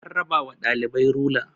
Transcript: an raba wa ɗalibai rula